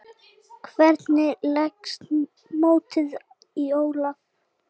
Hvernig leggst mótið í Ólaf?